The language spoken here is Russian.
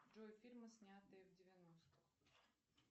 джой фильмы снятые в девяностых